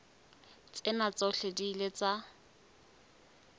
tsena tsohle di ile tsa